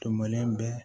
Tun bɛlen bɛ